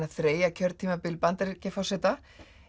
að þreyja kjörtímabil Bandaríkjaforseta